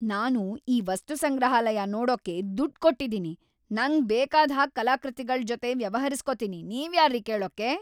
ನಾನು ಈ ವಸ್ತುಸಂಗ್ರಹಾಲಯ ನೋಡೋಕೆ ದುಡ್ಡ್‌ ಕೊಟ್ಟಿದೀನಿ, ನಂಗ್ ಬೇಕಾದ್ ಹಾಗೆ ಕಲಾಕೃತಿಗಳ್‌ ಜೊತೆ ವ್ಯವಹರಿಸ್ಕೊತೀನಿ. ನೀವ್ಯಾರ್ರೀ ಕೇಳೋಕೆ?!